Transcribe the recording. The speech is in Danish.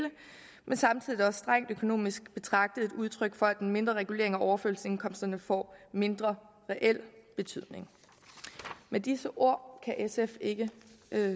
men samtidig er det også strengt økonomisk betragtet et udtryk for at en mindre regulering af overførselsindkomsterne får mindre reel betydning med disse ord kan sf ikke